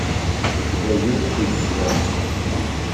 у тебя есть фильм клятва